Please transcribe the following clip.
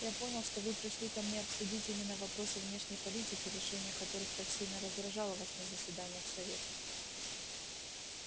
я понял что вы пришли ко мне обсудить именно вопросы внешней политики решение которых так сильно раздражало вас на заседаниях совета